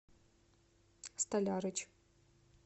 столярыч